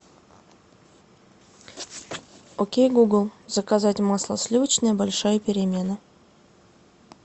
окей гугл заказать масло сливочное большая перемена